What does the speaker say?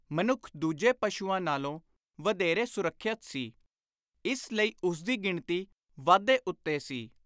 ਮਨੁੱਖ ਦੂਜੇ ਪਸ਼ੂਆਂ ਨਾਲੋਂ ਵਧੇਰੇ ਸੁਰੱਖਿਅਤ ਸੀ, ਇਸ ਲਈ ਉਸਦੀ ਗਿਣਤੀ ਵਾਧੇ ਉੱਤੇ ਸੀ।